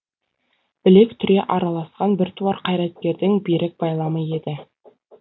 білек түре араласқан біртуар қайраткердің берік байламы еді